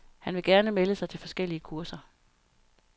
Han vil gerne melde sig til forskellige kurser.